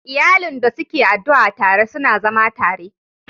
Iyalin da suke addu'a tare, suna zama tare